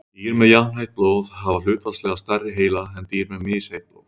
dýr með jafnheitt blóð hafa hlutfallslega stærri heila en dýr með misheitt blóð